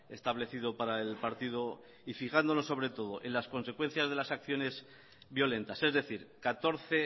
establecido para el partido y fijándonos sobre todo en las consecuencias de las acciones violentas es decir catorce